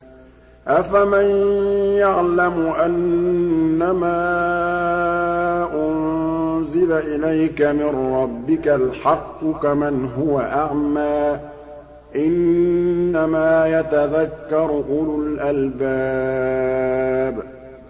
۞ أَفَمَن يَعْلَمُ أَنَّمَا أُنزِلَ إِلَيْكَ مِن رَّبِّكَ الْحَقُّ كَمَنْ هُوَ أَعْمَىٰ ۚ إِنَّمَا يَتَذَكَّرُ أُولُو الْأَلْبَابِ